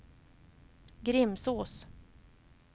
Grimsås